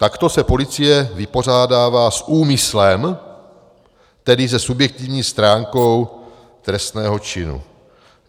Takto se policie vypořádává s úmyslem, tedy se subjektivní stránkou trestného činu.